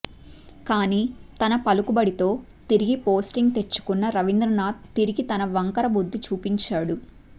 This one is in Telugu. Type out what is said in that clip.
కానీ తన పలుకుబడితో తిరిగి పోస్టింగ్ తెచ్చుకున్న రవీంద్రనాద్ తిరిగి తన వంకర బుద్ధి చూపించాడు